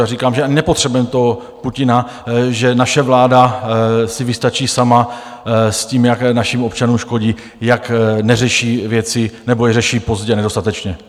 Já říkám, že nepotřebujeme toho Putina, že naše vláda si vystačí sama s tím, jak našim občanům škodí, jak neřeší věci, nebo je řeší pozdě, nedostatečně.